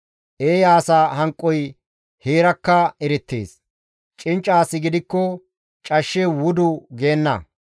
Eeya asa hanqoy heerakka erettees; cincca asi gidikko cashshe wudu geenna.